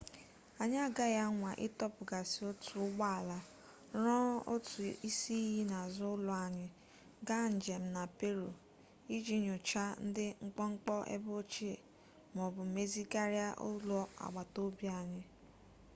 anyị agaghị anwa ịtọpụghasị otu ụgbọ ala rụọ otu isi iyi n'azụ ụlọ anyị gaa njem na peru iji nyochaa ndị mkpọmkpọ ebe ochie ma ọ bụ mezigharịa ụlọ agbatobi anyị